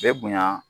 Bɛ bonya